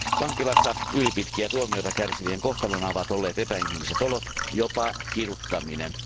Vankilassa ylipitkiä tuomioita kärsivien kohtalona ovat olleet epäinhimilliset olot, jopa kiduttaminen.